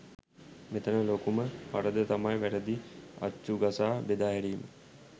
මෙතන ලොකුම වරද තමයි වැරදි අච්චු ගසා බෙදා හැරීම.